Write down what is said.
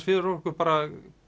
fyrir okkur